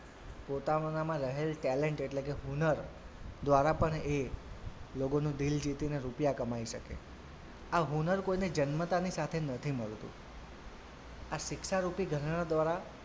પોતાનાંમાં રહેલ talent એટલે કે હુનર દ્વારા પણ એ લોકોનું દિલ જીતીને રૂપિયા કમાઈ શકે આ હુનર કોઈને જન્મતાને સાથે નથી મળતું આ શિક્ષારૂપી ઘરેણા દ્વારા,